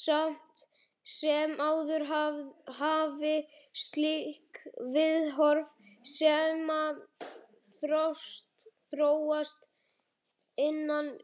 Samt sem áður hafi slík viðhorf snemma þróast innan